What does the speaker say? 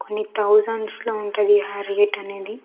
కొన్ని తౌసండ్స్ లో ఉంటది ఆ రేట్ అనేది.